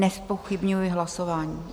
Nezpochybňuji hlasování.